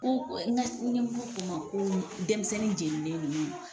Ko n ka ɲɛmɔgɔ k'o man ko denmisɛnnin jɛnninen nunnu.